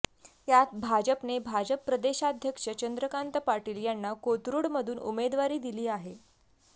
यात भाजपने भाजप प्रदेशाध्यक्ष चंद्रकांत पाटील यांना कोथरुडमधून उमेदवारी दिली आहे